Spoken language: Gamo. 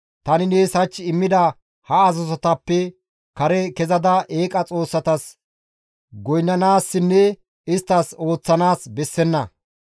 Tani nees hach immida ha azazotappe kare kezada eeqa xoossatas goynnanaassinne isttas ooththanaas bessenna.